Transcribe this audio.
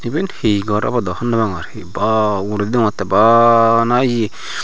eyen he gor obodow habor no pagor hi ba uguraydi dagogor bana eay.